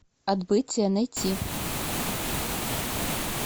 отбытие найти